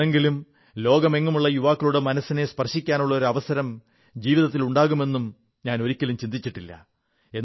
എന്നെങ്കിലും ലോകമെങ്ങുമുള്ള യുവാക്കളുടെ മനസ്സിനെ സ്പർശിക്കാനുള്ള അവസരം ജീവിതത്തിലുണ്ടാകുമെന്നും ഞാൻ ഒരിക്കലും ചിന്തിച്ചിട്ടില്ല